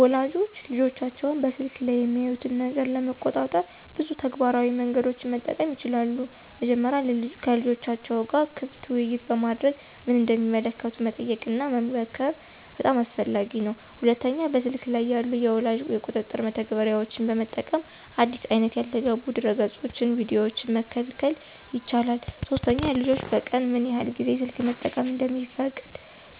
ወላጆች ልጆቻቸው በስልክ ላይ የሚያዩትን ነገር ለመቆጣጠር ብዙ ተግባራዊ መንገዶችን መጠቀም ይችላሉ። መጀመሪያ ከልጆቻቸው ጋር ክፍት ውይይት በማድረግ ምን እንደሚመለከቱ መጠየቅና መመክር በጣም አስፈላጊ ነው። ሁለተኛ በስልክ ላይ ያሉ የወላጅ ቁጥጥር መተግበሪያዎችን በመጠቀም አዲስ አይነት ያልተገቡ ድረገፆችንና ቪዲዮዎችን መከልከል ይቻላል። ሶስተኛ ልጆች በቀን ምን ያህል ጊዜ ስልክ መጠቀም እንደሚፈቀድ